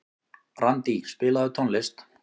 Randí, spilaðu tónlist.